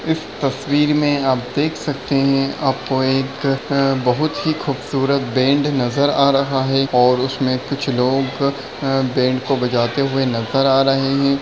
इस तस्वीर में आप देख सकते है आपको एक बहुत ही खूबसूरत बैंड नज़र आ रहा है और उसमें कुछ लोग बैंड को बजाते हुए नज़र आ रहे हैं।